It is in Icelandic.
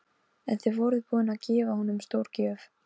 En þið voruð búin að gefa honum stórgjöf.